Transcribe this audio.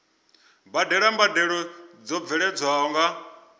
badela mbadelo dzo bveledzwaho nga